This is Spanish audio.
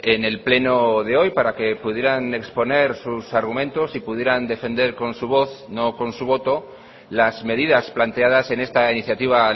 en el pleno de hoy para que pudieran exponer sus argumentos y pudieran defender con su voz no con su voto las medidas planteadas en esta iniciativa